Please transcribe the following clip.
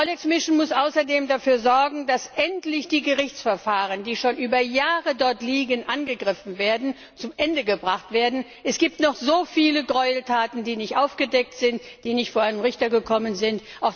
Die EULEX Mission muss außerdem dafür sorgen, dass die Gerichtsverfahren, die schon über Jahre dort liegen, endlich aufgegriffen und zu Ende gebracht werden. Es gibt noch so viele Gräueltaten, die nicht aufgedeckt sind und nicht vor einen Richter gekommen sind.